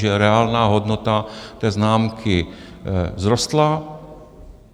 Takže reálná hodnota té známky vzrostla...